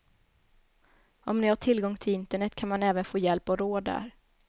Om ni har tillgång till internet kan man även få hjälp och råd där.